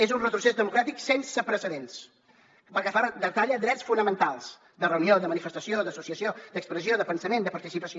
és un retrocés democràtic sense precedents perquè retalla drets fonamentals de reunió de manifestació d’associació d’expressió de pensament de participació